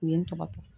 U ye n tɔgɔ